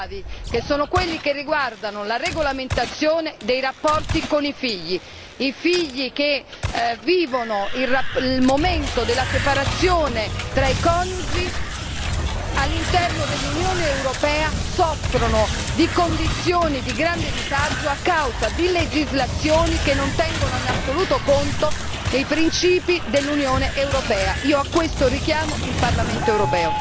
fatti ben più speciosi e gravi, che sono quelli riguardanti la regolamentazione dei rapporti con i figli i quali, al momento della separazione dei genitori all'interno dell'Unione europea, soffrono di condizioni di grande disagio a causa di legislazioni che non tengono in assoluto conto dei principi dell'Unione europea stessa.